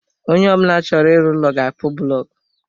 Onye ọ bụla chọrọ ịrụ ụlọ ga akpu bụlọku